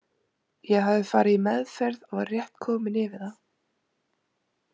Ég hafði farið í meðferð og var rétt kominn yfir það.